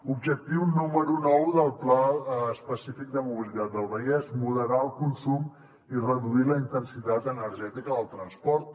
objectiu número nou del pla específic de mobilitat del vallès moderar el consum i reduir la intensitat energètica del transport